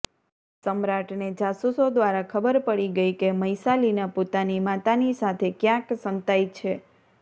સમ્રાટને જાસૂસો દ્વારા ખબર પડી ગઈ કે મૈસાલિના પોતાની માતાની સાથે ક્યાંક સંતાઈ છે